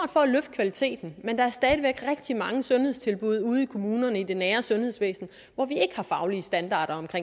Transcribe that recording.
kvaliteten men der er stadig væk rigtig mange sundhedstilbud ude i kommunerne i det nære sundhedsvæsen hvor vi ikke har faglige standarder for